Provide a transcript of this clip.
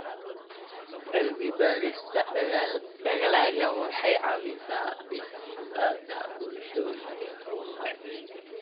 Cilmi-baarista dalaggu waxay caawisaa dhisidda bulshooyin xooggan.